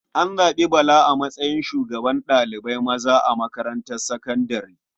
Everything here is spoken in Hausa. An zaɓi Bala a matsayin shugaban ɗalibai maza a makarantar sakandare.